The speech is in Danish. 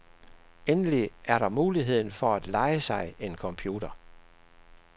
Endelig er der muligheden for at leje sig en computer.